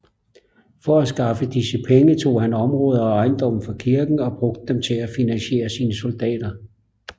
For at skaffe disse penge tog han områder og ejendomme fra kirken og brugte dem til at finansiere sine soldater